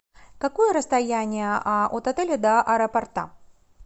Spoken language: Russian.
какое расстояние от отеля до аэропорта